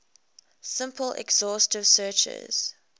simple exhaustive searches